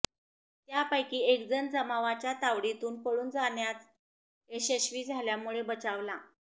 त्यापैकी एकजण जमावाच्या तावडीतून पळून जाण्यात यशस्वी झाल्यामुळं बचावला